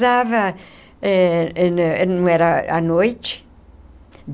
não era à noite.